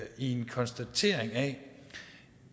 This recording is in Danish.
i en konstatering af